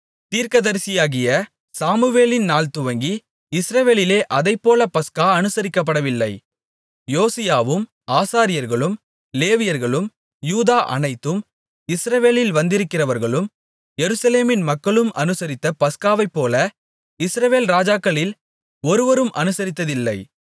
தீர்க்கதரிசியாகிய சாமுவேலின் நாள் துவங்கி இஸ்ரவேலிலே அதைப்போல பஸ்கா அனுசரிக்கப்படவில்லை யோசியாவும் ஆசாரியர்களும் லேவியர்களும் யூதா அனைத்தும் இஸ்ரவேலில் வந்திருந்தவர்களும் எருசலேமின் மக்களும் அனுசரித்த பஸ்காவைப்போல இஸ்ரவேல் ராஜாக்களில் ஒருவரும் அனுசரித்ததில்லை